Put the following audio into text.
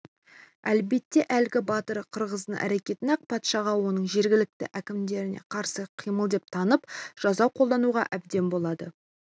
әлбетте әлгі батыр киргиздың әрекетін ақ патшаға оның жергілікті әкімдеріне қарсы қимыл деп танып жаза қолдануға әбден болады